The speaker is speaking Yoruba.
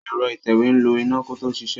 Ẹ̀rọ ìtẹ̀wé ń lo iná kó tó ṣiṣẹ́.